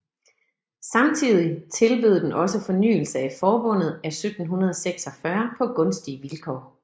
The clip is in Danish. Samtidig tilbød den også fornyelse af forbundet af 1746 på gunstige vilkår